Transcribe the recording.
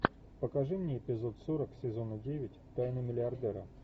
покажи мне эпизод сорок сезона девять тайны миллиардера